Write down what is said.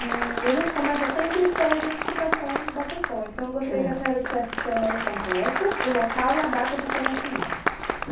Eee a gente começa sempre pela identificação da pessoa, então eu gostaria que a senhora dissesse o seu nome completo, o local e a data do seu nascimento.